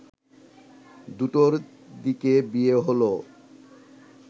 দুটোর দিকে বিয়ে হলো